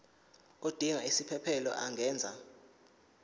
odinga isiphesphelo angenza